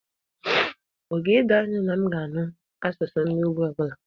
Ọ ga-edo gị anya na m ga-anụ asụsụ ndị Ogbi ọ bụla?